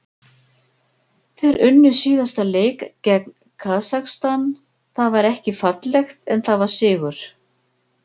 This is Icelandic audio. Þeir unnu síðasta leik gegn Kasakstan, það var ekki fallegt en það var sigur.